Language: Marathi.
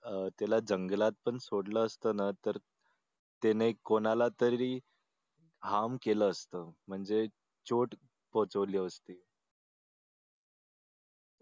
अह त्याला जंगलात पण सोडला असत ना तर त्याने कोणालातरी केलं असतं म्हणजे चोट पोचवली असते